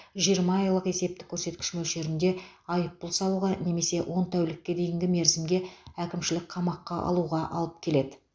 жиырма айлық есептік көрсеткіш мөлшерінде айыппұл салуға немесе он тәулікке дейінгі мерзімге әкімшілік қамаққа алуға алып келеді